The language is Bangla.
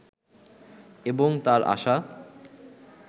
এবং তার আশা